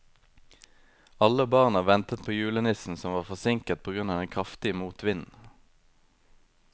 Alle barna ventet på julenissen, som var forsinket på grunn av den kraftige motvinden.